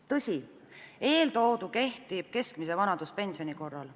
Tõsi, eeltoodu kehtib keskmise vanaduspensioni korral.